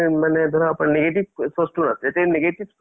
ঠিকে কৈছা ধৰা movies ৰ লগত news খিনিও চাব লাগে ন?